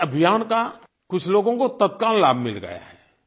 इस अभियान का कुछ लोगों को तत्काल लाभ मिल गया है